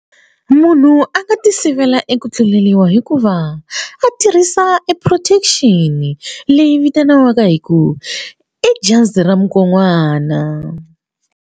Munhu a nga ti sivela eka ku tluleriwa hikuva a tirhisa e protection leyi vitaniwaka hi ku i jazi ra mukon'wana.